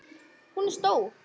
Hún er stór.